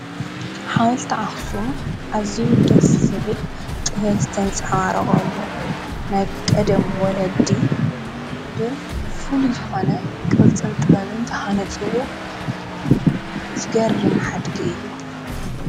ሓወልቲ ኣኽሱም ኣዝዩ ደስ ዝብል ጥበብ ዝተንፀባረቐሉ ናይ ቀደም ወለዲ ብፍሉይ ዝኾነ ቕርፅን ጥበብን ዝሃነጽዎ ዝገርም ሓድጊ እዩ።